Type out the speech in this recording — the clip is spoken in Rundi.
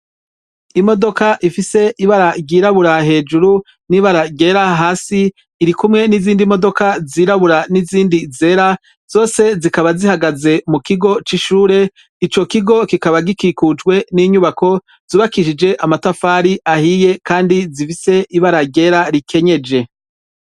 Imodoka ifise ibara ryirabura hejuru nibara ryera hasi irikumwe nizindi modoka zirabura nizindi zera zose zikaba zihagaze mukigo cishure ico kigo kikaba gikikujwe ninyubako zubakishijwe amatafari ahiye kandi zifise ibara ryera rikenyeje